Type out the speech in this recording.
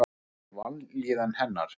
Ég skil vanlíðan hennar.